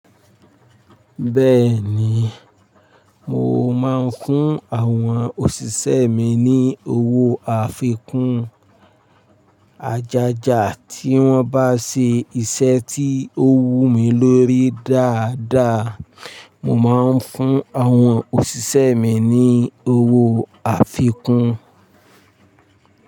Bẹ́ẹ̀ ni, mo máa ń fún àwọn òṣìṣẹ́ mi ní owó àfikún ajaja tí wọ́n bá ṣe iṣẹ́ tí ó wù mí lórí dáadáa. Mo máa ń fún àwọn òṣìṣẹ́ mi ní owó àfikún.